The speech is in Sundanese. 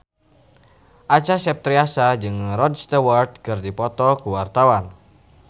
Acha Septriasa jeung Rod Stewart keur dipoto ku wartawan